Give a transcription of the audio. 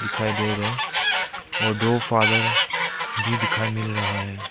दिखाई दे रहा है और दो फादर भी दिखाई मिल रहा है।